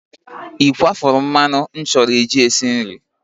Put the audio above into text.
Ị kwafuru mmanụ m chọrọ iji esi nri?